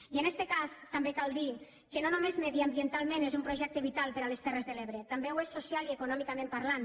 i en este cas també cal dir que no només mediambientalment és un projecte vital per a les terres de l’ebre també ho és socialment i econòmicament parlant